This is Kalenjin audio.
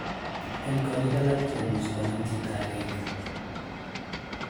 En korik alak komuche konam chito agenge.